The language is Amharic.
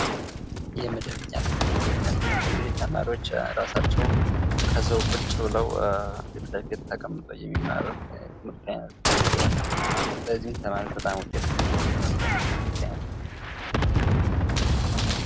የመደበኛ ትምህርት የመደበኛ ትምህርት እንግዲህ ተማሪዎች ራሳቸው ከዛው ቁጭ ብለው ፊትለፊት ተቀምጠው የሚማሩት የትምርት አይነት ሲሆን በዚህም ተማሪዎች በጣም ዉጤታማ የሚሆኑበት የትምህርት አይነት ነው::